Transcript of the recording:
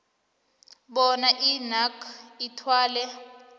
bona inac ithwale